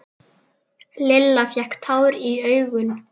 Lilla fékk tár í augun.